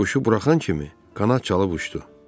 Ram quşu buraxan kimi qanad çalıb uçdu.